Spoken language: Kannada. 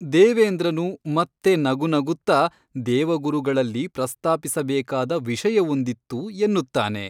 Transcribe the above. ದೇವೇಂದ್ರನು ಮತ್ತೆ ನಗುನಗುತ್ತ ದೇವಗುರುಗಳಲ್ಲಿ ಪ್ರಸ್ತಾಪಿಸಬೇಕಾದ ವಿಷಯವೊಂದಿತ್ತು ಎನ್ನುತ್ತಾನೆ.